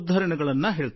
ಉಲ್ಲೇಖಗಳು ಇರುತ್ತವೆ